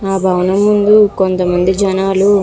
ఆ భవనము ముందు కొంతమంది జనాలు --